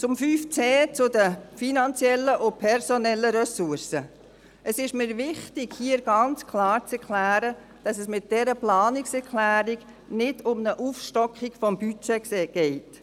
Zu 5.c, zu den finanziellen und personellen Ressourcen: Es ist mir wichtig, hier klarzustellen, dass es bei dieser Planungserklärung nicht um eine Aufstockung des Budgets geht.